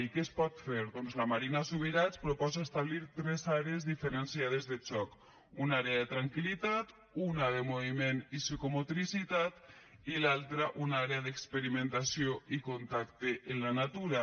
i què es pot fer doncs la marina subirats proposa establir tres àrees diferenciades de joc una àrea de tranquil·litat una de moviment i psicomotricitat i l’altra una àrea d’experimentació i contacte amb la natura